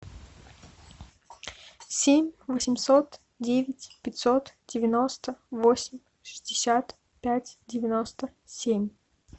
семь восемьсот девять пятьсот девяносто восемь шестьдесят пять девяносто семь